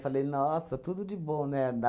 Falei, nossa, tudo de bom, né? Da